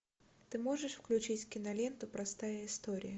ты можешь включить киноленту простая история